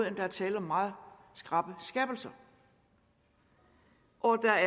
at der er tale om meget skrappe skærpelser og at der